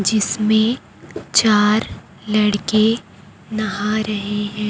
जिसमें चार लड़के नहा रहे हैं।